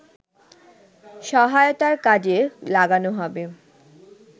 সহায়তায় কাজে লাগানো হবে